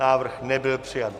Návrh nebyl přijat.